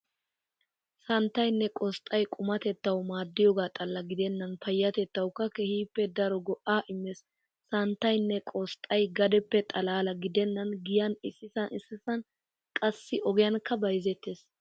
Santtaynne qosxay qumattettawu maaddiyoogaa xalla gidennan payyatettawukka keehippe daro go'aa immees. Santtaynne qosxxay gadeppe xalla gidennan giyan issisan issisan qassi ogiyankka bayzettees.